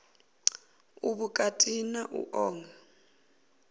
u vhukati na u oa